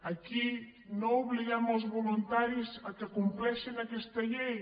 aquí no obliguem els voluntaris que compleixin aquesta llei